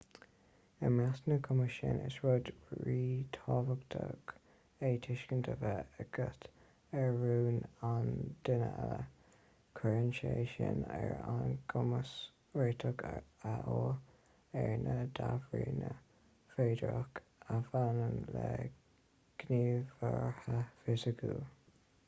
i measc na gcumas sin is rud ríthábhachtach é tuiscint a bheith agat ar rún an duine eile cuireann sé sin ar ár gcumas réiteach a fháil ar na débhríonna féideartha a bhaineann le gníomhartha fisiciúla